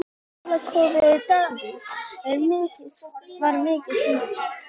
Og Dalakofi Davíðs var mikið sunginn.